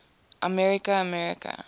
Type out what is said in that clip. america america